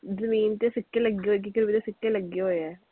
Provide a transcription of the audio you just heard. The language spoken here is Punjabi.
ਜਮੀਨ ਚ ਸਿੱਕੇ ਲੱਗੇ ਹੋਏ ਜਿਹਦੇ ਸਿੱਕੇ ਲੱਗੇ ਹੋਏ ਹੈ।